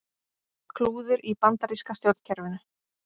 Klúður í bandaríska stjórnkerfinu